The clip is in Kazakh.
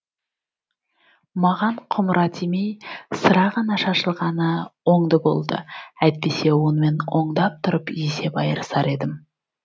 маған құмыра тимей сыра ғана шашылғаны оңды болды әйтпесе онымен оңдап тұрып есеп айырысар едім